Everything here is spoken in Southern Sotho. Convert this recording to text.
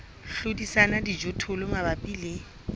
hlodisana le dijothollo mabapi le